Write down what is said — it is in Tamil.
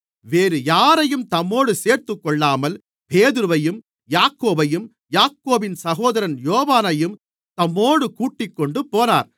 வேறுயாரையும் தம்மோடு சேர்த்துக்கொள்ளாமல் பேதுருவையும் யாக்கோபையும் யாக்கோபின் சகோதரன் யோவானையும் தம்மோடு கூட்டிக்கொண்டுபோனார்